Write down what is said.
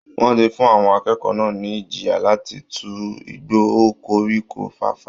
Wọ́n ti fún àwọn akẹ́kọ̀ọ́ náà ní ìjìyà láti tu igbó o koríko fàfà